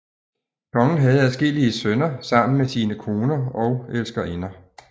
Kongen havde adskillige sønner sammen med sine koner og elskerinder